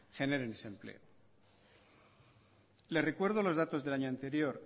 generen ese empleo le recuerdo los datos del año anterior